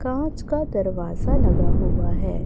कांच का दरवाजा लगा हुआ है।